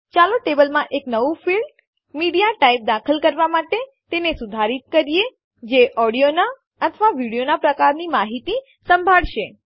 ચાલો ટેબલમાં એક નવું ફીલ્ડ ક્ષેત્ર મીડિયાટાઇપ દાખલ કરવાં માટે તેને સુધારિત કરીએ જે ઓડિયોનાં અથવા વિડીયોનાં પ્રકારની માહિતી સંભાળશે